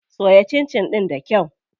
Soya cincin ɗin da kyau.